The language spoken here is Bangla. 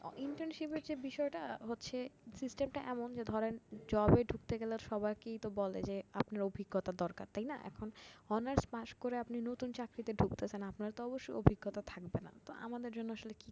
Internship এর যে বিষয়টা হচ্ছে system টা এমন, ধরেন জবে ঢুকতে গেলে সবাইকেই তো বলে যে আপনার অভিজ্ঞতা দরকার তাই না এখন honours পাস করে আপনি নতুন চাকরিতে ঢুকতেছেন আপনার তো অবশ্যই অভিজ্ঞতা থাকবে না, তো আমাদের জন্য আসলে কি